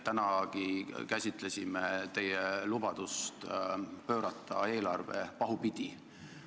Tänagi käsitlesime teie lubadust pöörata eelarve pahupidi.